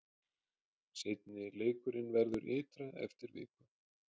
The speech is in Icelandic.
Seinni leikurinn verður ytra eftir viku.